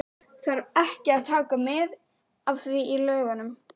Þarf ekki að taka mið af því í lögunum?